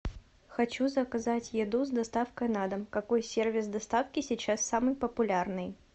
хочу заказать еду с доставкой на дом какой сервис доставки сейчас самый популярный